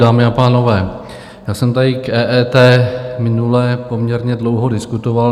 Dámy a pánové, já jsem tady k EET minule poměrně dlouho diskutoval.